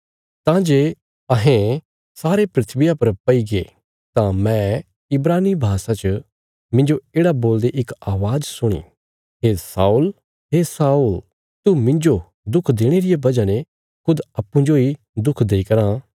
तां जे अहें सारे धरतिया पर पैईगे तां मैं इब्रानी भाषा च मिन्जो येढ़ा बोलदे इक अवाज़ सुणी हे शाऊल हे शाऊल तू मिन्जो दुख देणे रिया वजह ने खुद अप्पूँ जोई दुख देई कराँ